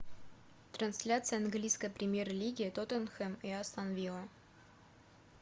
трансляция английской премьер лиги тоттенхэм и астон вилла